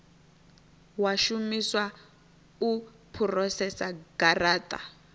wa shumiswa u phurosesa garata